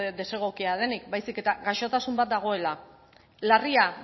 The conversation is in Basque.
desegokia denik baizik eta gaixotasun bat dagoela larria